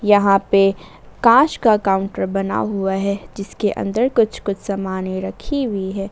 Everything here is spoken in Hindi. यहां पे कांच का काउंटर बना हुआ है जिसके अंदर कुछ कुछ समाने रखी हुई है।